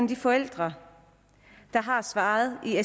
de forældre der har svaret i